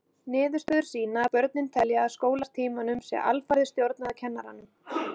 Niðurstöður sýna að börnin telja að skólatímanum sé alfarið stjórnað af kennurunum.